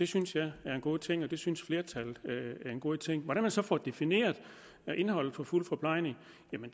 synes jeg er en god ting og det synes flertallet er en god ting hvordan man så får defineret indholdet af fuld forplejning